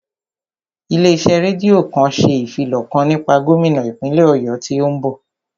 Ilé iṣẹ́ rédíò kan ṣe ìfilọ̀ kan nípa gómínà ìpínlè Ọ̀yọ́ tí ó ń bọ̀